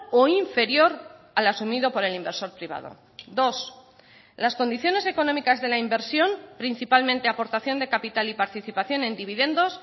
o inferior al asumido por el inversor privado dos las condiciones económicas de la inversión principalmente aportación de capital y participación en dividendos